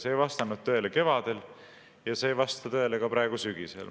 See ei vastanud tõele kevadel ja see ei vasta tõele ka praegu, sügisel.